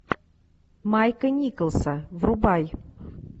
майка николса врубай